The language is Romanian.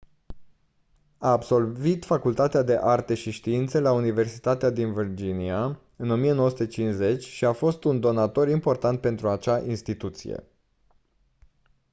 a absolvit facultatea de arte și științe la universitatea din virginia în 1950 și a fost un donator important pentru acea instituție